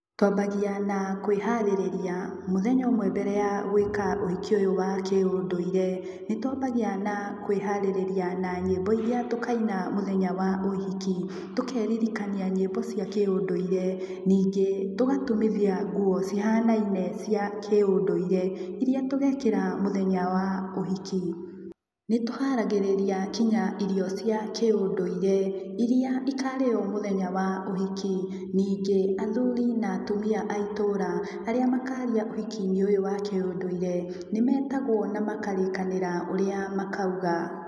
Twambagia na kwĩharĩrĩria mũthenya ũmwe mbere ya gwĩka ũhiki ũyũ wa kĩ-ũndũire. Nĩtwambagia na kwĩharĩrĩria na nyĩmbo iria tũkaina mũthenya wa ũhiki. Tũkeririkania nyĩmbo cia kĩ-ũndũire. Ningĩ, tũgatumithia nguo cihanaine cia kĩ-ũndũire iria tũgekĩra mũthenya wa ũhiki. Nĩtũharagĩrĩria kinya irio cia kĩ-ũndũire iria ikarĩywo mũthenya wa ũhiki. Ningĩ, athuri na atumia a itũũra aria makaria ũhiki-inĩ ũyũ wa kĩ-ũndũire nĩmetagwo na makarĩkanĩra ũrĩa makauga.